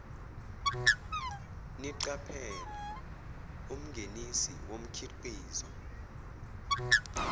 niqaphele umngenisi womkhiqizo